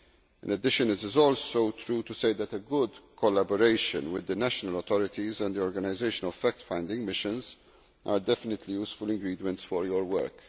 In addition it is also true to say that a good collaboration with the national authorities and the organisation of fact finding missions are definitely useful ingredients for your work.